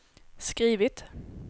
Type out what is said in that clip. skrivit